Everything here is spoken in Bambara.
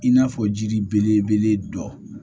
I n'a fɔ jiri belebele dɔ